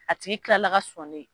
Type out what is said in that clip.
A tigi tilala ka sɔnnen